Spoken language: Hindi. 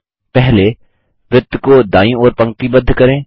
पहले वृत्त को दायीं ओर पंक्तिबद्ध करें